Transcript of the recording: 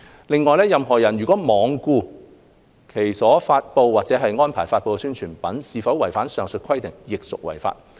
另外，任何人如罔顧其所發布或安排發布的宣傳品是否違反上述規定，亦屬違法。